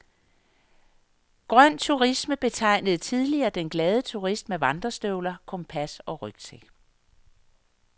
Grøn turisme betegnede tidligere den glade turist med vandrestøvler, kompas og rygsæk.